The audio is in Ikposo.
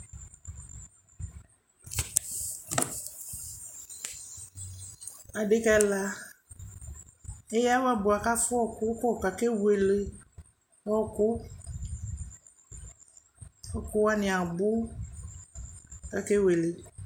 Adekǝ ɛla eyǝ awɛ bʋa kʋ afʋa ɔɣɔkʋ kɔ kʋ akewele ɔɣɔkʋ Ɔɣɔkʋ wanɩ abʋ kʋ akewele